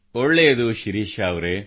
my parents only encourage me